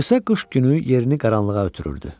Qısa qış günü yerini qaranlığa ötürürdü.